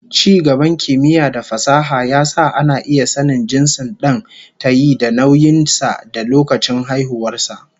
Ci gaban kimiyya da fasaha ya sa ana iya sanin jinsin dan tayi da nauyin sa da lokacin haihuwar sa